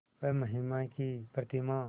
वह महिमा की प्रतिमा